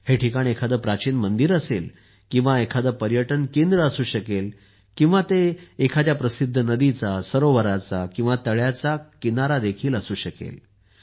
हे ठिकाण एखादे प्राचीन मंदिर किंवा पर्यटन केंद्र असू शकते किंवा ते एखाद्या प्रसिद्ध नदीचा सरोवराचा किंवा तळ्याचा किनारा देखील असू शकेल